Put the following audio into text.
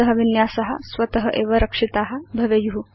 भवत विन्यासा स्वत एव रक्षिता भवेयु